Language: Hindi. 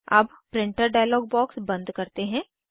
अब प्रिंटर डायलॉग बॉक्स बंद करते हैं